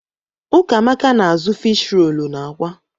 Ụkamaka na_azụ fiish roolu na àkwá.